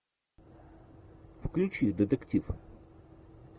включи детектив